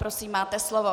Prosím, máte slovo.